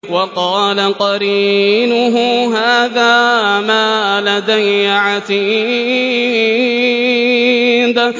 وَقَالَ قَرِينُهُ هَٰذَا مَا لَدَيَّ عَتِيدٌ